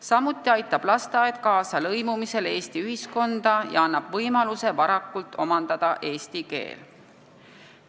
Samuti aitab lasteaed kaasa lõimumisele Eesti ühiskonda ja annab võimaluse varakult omandada eesti keel.